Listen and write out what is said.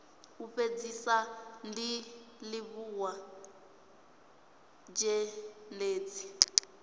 u fhedzisa ndi livhuwa zhendedzi